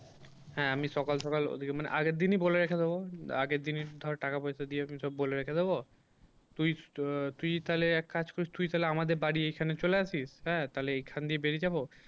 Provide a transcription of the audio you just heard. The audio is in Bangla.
হ্যাঁ আমি সকাল সকাল ওদিকে মানে আগের দিনই বলে রেখে দেবো। আগের দিনই ধর টাকা পয়সা দিয়ে আমি সব বলে রেখে দেবো। তুই তুই তাহলে এক কাজ করিস তুই তাহলে আমাদের বাড়ি এইখানে চলে আসিস হ্যাঁ তাহলে এইখান দিয়ে বেরিয়ে যাবো।